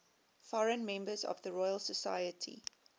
foreign members of the royal society